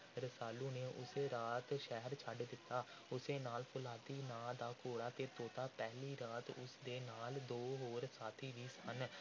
ਰਸਾਲੂ ਨੇ ਉਸੇ ਰਾਤ ਸ਼ਹਿਰ ਛੱਡ ਦਿੱਤਾ। ਉਸ ਦੇ ਨਾਲ ਫ਼ੌਲਾਦੀ ਨਾਂ ਦਾ ਘੋੜਾ ਅਤੇ ਤੋਤਾ। ਪਹਿਲੀ ਰਾਤ ਉਸ ਦੇ ਨਾਲ ਦੋ ਹੋਰ ਸਾਥੀ ਵੀ ਸਨ।